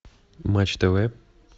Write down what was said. матч тв